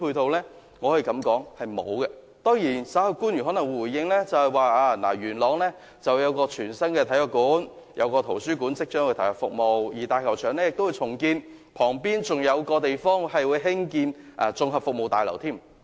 當然，官員稍後回應時可能會說，位於元朗的全新體育館及圖書館即將投入服務，而元朗大球場亦會重建，旁邊還會興建一座綜合服務大樓。